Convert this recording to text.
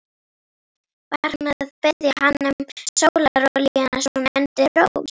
Var hún að biðja hann um sólarolíuna svona undir rós?